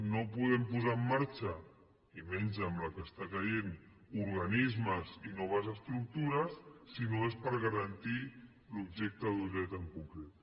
no podem posar en marxa i menys amb la que està caient organismes i noves estructures si no és per garantir l’objecte d’un dret en concret